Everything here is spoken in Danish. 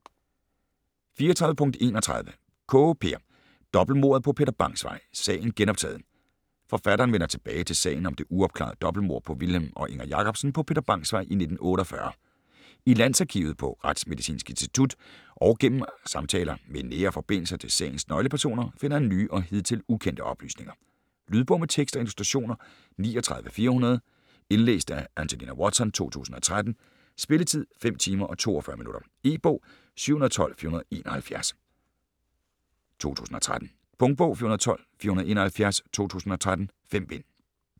34.31 Kaae, Peer: Dobbeltmordet på Peter Bangs Vej: sagen genoptaget Forfatteren vender tilbage til sagen om det uopklarede dobbeltmord på Vilhelm og Inger Jacobsen på Peter Bangs Vej i 1948. I Landsarkivet, på Retsmedicinsk Institut og gennem samtaler med nære forbindelser til sagens nøglepersoner finder han nye og hidtil ukendte oplysninger. Lydbog med tekst og illustrationer 39400 Indlæst af Angelina Watson, 2013. Spilletid: 5 timer, 42 minutter. E-bog 712471 2013. Punktbog 412471 2013. 5 bind.